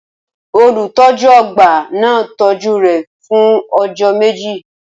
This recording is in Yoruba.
Olùtọ́jú ọgbà náà tọ́jú rẹ̀ fún ọjọ́ méjì.